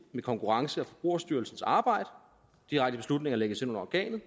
i konkurrence og forbrugerstyrelsens arbejde direkte beslutninger lægges ind under organet